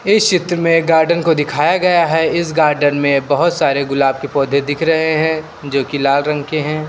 इस चित्र में गार्डन को दिखाया गया है। इस गार्डन में बहोत सारे गुलाब के पौधे दिख रहे हैं जो कि लाल रंग के हैं।